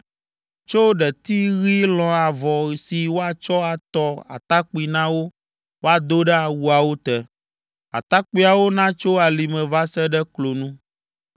Tsɔ ɖeti ɣi lɔ̃ avɔ si woatsɔ atɔ atakpui na wo woado ɖe awuawo te. Atakpuiawo natso alime va se ɖe klonu.